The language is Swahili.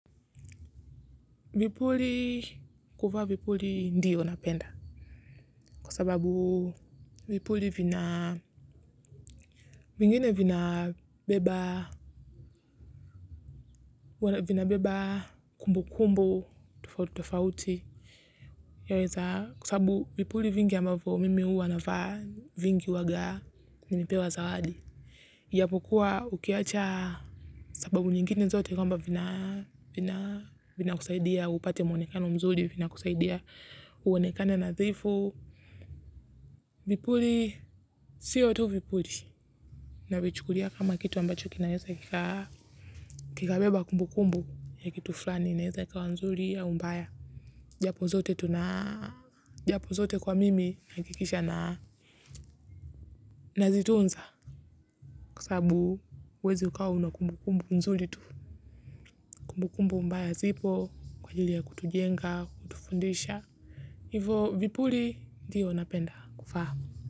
Vipuli kuvaa vipuli ndio napenda kua sababu vipuli vina vingine vina beba kumbu kumbu tofauti kua sababu vipuli vingi ambafo mimi uwa nafa vingi waga nimepewa zawadi. Japo kuwa ukiacha sababu nyingine zote kwamba vina kusaidia upate mwonekano mzuri vina kusaidia uonekane nadhifu. Vipuli, siyo tu vipuli navichukulia kama kitu ambacho kinaweza kika beba kumbu kumbu ya kitu flani naweza ikawa nzuri au mbaya. Japo zote tunaa. Japo zote kwa mimi nakikisha na nazitunza. Kua sabu uwezi ukawa na kumbukumbu mzuli tu. Kumbukumbu mbaya zipo kwa ajili ya kutujenga, kutufundisha. Hivo vipuli ndiyo napenda kuvaa.